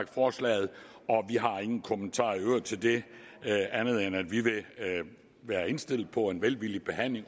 forslaget og ingen kommentarer i øvrigt til det andet end at vi vil være indstillet på en velvillig behandling